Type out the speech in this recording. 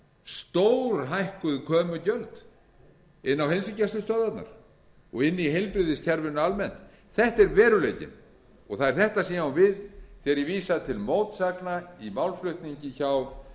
stórhækkuð komugjöld inn á heilsugæslustöðvarnar og inni í heilbrigðiskerfinu almennt þetta er veruleikinn og það er þetta sem ég á við þegar ég vísa til mótsagna í málflutningi